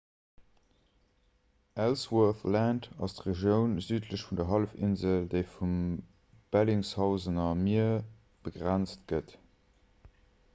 ellsworth land ass d'regioun südlech vun der hallefinsel déi vum bellingshausener mier begrenzt gëtt